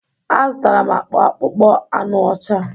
A zụtara m akpa akpụkpọ anụ ọcha.